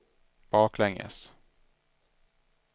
baklänges